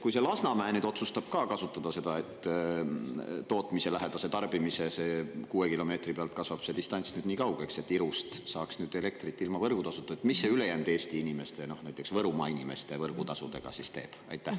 Kui Lasnamäe nüüd otsustab ka kasutada seda tootmise lähedast tarbimist, sest kuue kilomeetri pealt kasvab see distants nüüd nii kaugeks, Irust saaks elektrit ilma võrgutasuta, siis mis see ülejäänud Eesti inimeste, näiteks Võrumaa inimeste võrgutasudega teeb?